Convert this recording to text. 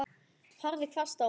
Horfði hvasst á mig.